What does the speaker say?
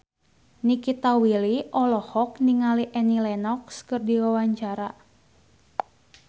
Nikita Willy olohok ningali Annie Lenox keur diwawancara